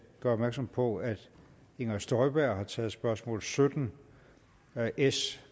gøre opmærksom på at inger støjberg har taget spørgsmål sytten s